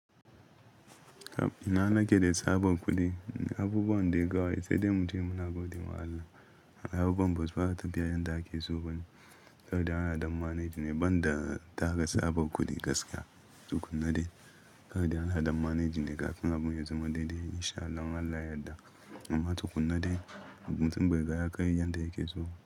Na nake da tsabar kuɗi, abubuwan dai kawai sai dai mu ce muna godiya ma Allah. Abubuwan ba su fara tafiya yadda ake so ba ne, karda ana adon manage ne, ban da tara tsabar kuɗi gaskiya. Tukunna dai karda ana adon manage ne, kafin abu ya zama daidai in sha Allah yadda. Amma tukunna dai abun sun bai ga yakai yadda yake so.